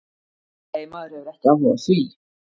Nei, maður hefur ekki áhuga á því.